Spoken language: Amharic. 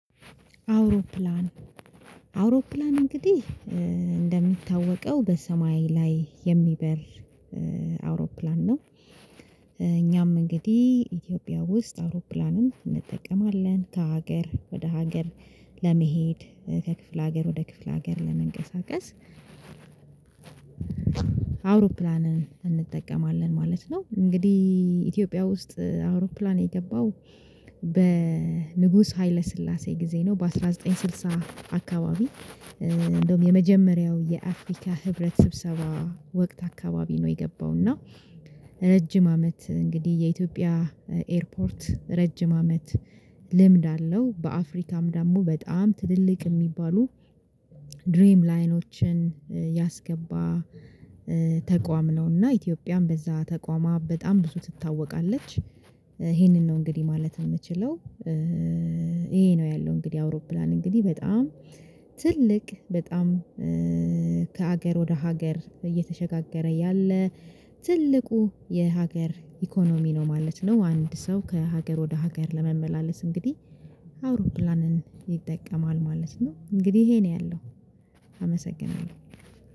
አውሮፕላን አውሮፕላን እንግዲህ እንደሚታወቀው በሰማይ ላይ የሚበር አውሮፕላን ነው። እኛም እንግዲህ ኢትዮጵያ ውስጥ አውሮፕላንም እንጠቀማለን ከሀገር ወደ ሀገር ለመሄድ ከክፍለ ሀገር ወደ ክፍለ ሀገር ለመንቀሳቀስ አውሮፕላንን እንጠቀማለን ማለት ነው። እንግዲህ ኢትዮጵያ ውስጥ አውሮፕላን የገባው በንጉስ ሀይለ ስላሴ ጊዜ ነው። በአንድ ሺህ ዘጠኝ መቶ ስድሳ አካባቢ። እንደውም የመጀመሪያው የአፍሪካ ህብረት ስብሰባ ወቅት አካባቢ ነው የገባው እና። ረጅም አመት እንግዲህ የኢትዮጵያ ኤርፖርት ረጅም አመት ልምድ አለው። በአፍሪካም ደግሞ በጣም ትልልቅ የሚባሉ ድሪም ላይኖችን ያስገባ ተቋም ነው። እና ኢትዮጵያን በዛ ተቋማ በጣም ብዙ ትታወቃለች። ይሄንን ነው እንግዲህ ማለት የምትችለው። ይሄ ነው ያለው እንግዲህ አውሮፕላን እንግዲህ በጣም ትልቅ በጣም ከሀገር ወደ ሀገር እየተሸጋገረ ያለ ትልቁ የሀገር ኢኮኖሚ ነው ማለት ነው። አንድ ሰው ከሀገር ወደ ሀገር ለመመላለስ እንግዲህ አውሮፕላንን ይጠቀማል ማለት ነው። እንግዲህ ይሄ ነው ያለው አመሰግናለሁ።